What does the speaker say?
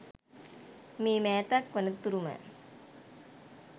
මේ මෑතක් වන තුරුම